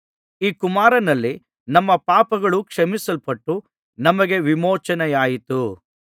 ಈ ಕುಮಾರನಲ್ಲಿ ನಮ್ಮ ಪಾಪಗಳು ಕ್ಷಮಿಸಲ್ಪಟ್ಟು ನಮಗೆ ವಿಮೋಚನೆಯಾಯಿತು